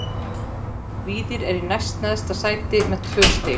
Víðir er í næst neðsta sæti með tvö stig.